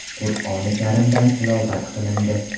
Qur’oni Karimdan tilovat qilindi.